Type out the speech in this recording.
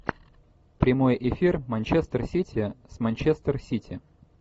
прямой эфир манчестер сити с манчестер сити